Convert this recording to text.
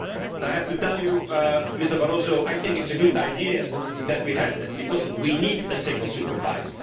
Bank. I have to tell you, Mr Barroso, I think it is a good idea that we have that, because we need a single